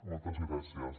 moltes gràcies